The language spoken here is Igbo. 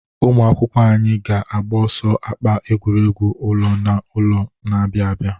Ụmụ akwụkwọ anyị ga-agba ọsọ akpa n'egwuregwu ụlọ na ụlọ na-abịa abịa.